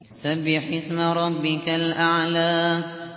سَبِّحِ اسْمَ رَبِّكَ الْأَعْلَى